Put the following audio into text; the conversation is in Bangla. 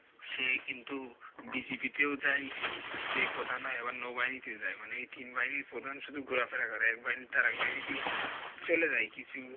সে কিন্তু BGP তেও যায় যে প্রধান হয় আবার নৌবাহিনীতেও যায় মানে এই তিন বাহিনীর প্রধান শুধু ঘোরাফেরা করে এক বাহিনী থেকে আরেক বাহিনীতে চলে যায় কিছু